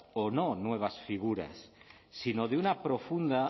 o no nuevas figuras sino de una profunda